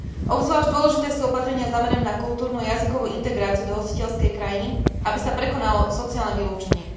Obzvlášť dôležité sú opatrenia zamerané na kultúrnu a jazykovú integráciu do hostiteľskej krajiny, aby sa prekonalo sociálne vylúčenie.